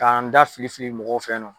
K'an da filifili mɔgɔ fɛyinɔ.